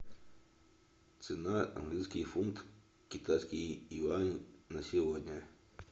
цена английский фунт китайский юань на сегодня